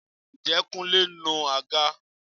Ǹjẹ́ Kúnlé ń nu àga?